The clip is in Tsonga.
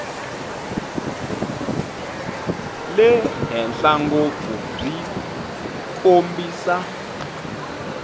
le henhla ngopfu byi kombisa